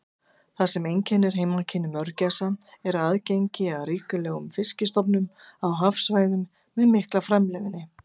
Það sem einkennir heimkynni mörgæsa er aðgengi að ríkulegum fiskistofnum á hafsvæðum með mikla framleiðni.